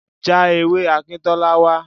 Já ewé Akintola wá.